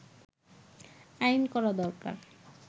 “আইন করা দরকার